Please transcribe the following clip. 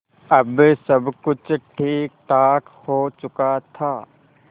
अब सब कुछ ठीकठाक हो चुका था